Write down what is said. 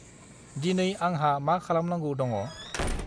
दिनै आंहा मा खालामनांगौ दङ?